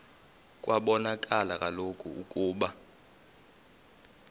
kwabonakala kaloku ukuba